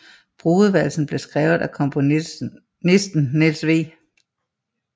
Brudevalsen blev skrevet af komponisten Niels W